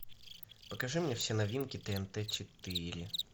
покажи мне все новинки тнт четыре